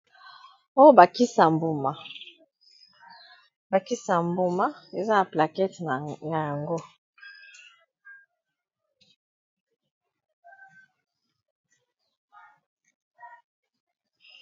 Oyo bakisa ya mbuma, ba kisi ya mbuma eza na plakete na yango.